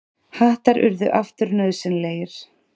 Hattar urðu aftur nauðsynlegir.